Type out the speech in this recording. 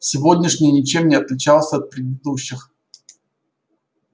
сегодняшний ничем не отличался от предыдущих